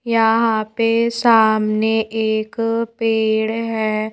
यहां पे सामने एक पेड़ है।